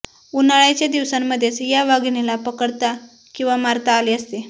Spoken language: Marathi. उन्हाळ्याच्या दिवसांमध्येच या वाघिणीला पकडता किंवा मारत आले असते